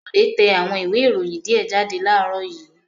Bọ̀dé tẹ àwọn ìwé-ìròyìn díẹ̀ jáde láàárọ̀ yìí.